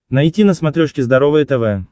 найти на смотрешке здоровое тв